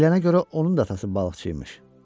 Deyilənə görə, onun da atası balıqçı imiş.